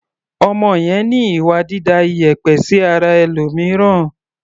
Ọmọ yẹn ní ìwà dída ìyẹ̀pẹ̀ sí ara ẹlòmìíràn.